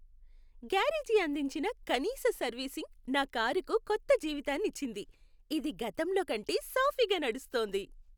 Garage అందించిన కనీస servicing నా కారుకు కొత్త జీవితాన్ని ఇచ్చింది, ఇది గతంలో కంటే సాఫీగా నడుస్తోంది!